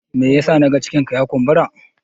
me yasa na ga cikinka ya kumbura?